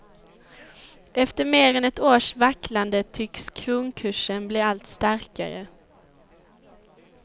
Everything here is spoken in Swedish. Efter mer än ett års vacklande tycks kronkursen bli allt starkare.